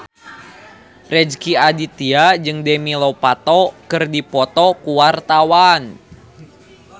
Rezky Aditya jeung Demi Lovato keur dipoto ku wartawan